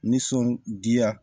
Nisɔndiya